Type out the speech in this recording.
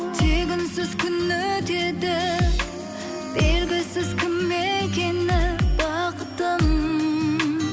тек үнсіз күн өтеді белгісіз кім екені бақытым